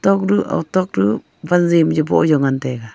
tok duh otok duh wanji am yu boh jaw ngan taiga.